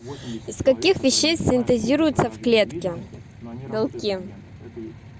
из каких веществ синтезируются в клетке белки